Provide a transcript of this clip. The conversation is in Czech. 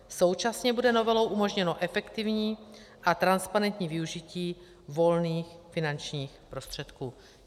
Současně bude novelou umožněno efektivní a transparentní využití volných finančních prostředků.